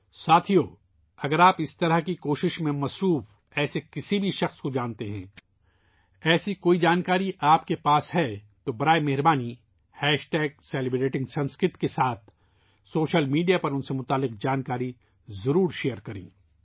ساتھیو ، اگر آپ اس طرح کی کوششوں میں مصروف کسی ایسے شخص کو جانتے ہیں ، اگر آپ کے پاس ایسی کوئی معلومات ہے ، تو براہ کرم سوشل میڈیا پر ان سے متعلقہ معلومات سیلیبریٹنگسنسکرت کے ساتھ شیئر کریں